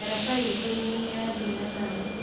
Daraca itũ nĩ níyathiĩ na maĩ.